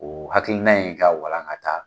O hakilina in ka walakata